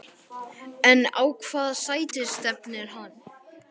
En á hvaða sæti stefnir hann?